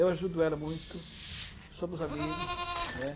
Eu ajudo ela muito, somos amigos, né?